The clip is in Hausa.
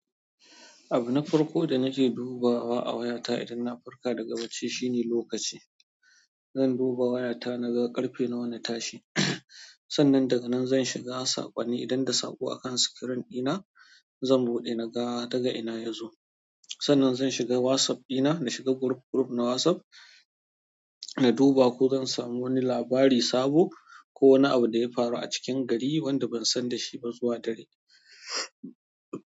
Abu na farko da nake dubawa a wayata idan na farka daga bacci shine lokaci. Zan duba wayata naga ƙarfe nawa na tashi. Sannan daga nan zan shiga saƙonni idan da saƙo akan screen dina, zan buɗe naga daga ina ya zo. Sannan zan shiga WhatsApp dina, na shiga group group na WhatsApp, na duba ko zan samu wani labari sabo ko wani abu da ya faru a cikin gari wanda ban san da shi ba zuwa dare.